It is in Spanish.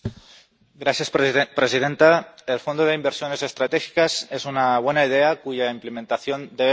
Señora presidenta, el Fondo Europeo para Inversiones Estratégicas es una buena idea cuya implementación debe mejorar.